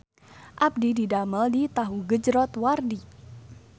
Abdi didamel di Tahu Gejrot Wardi